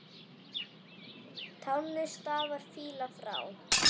Tánni stafar fýla frá.